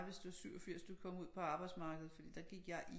Hvis det er 87 du kom jeg ud på arbejdsmarkedet fordi der gik jeg i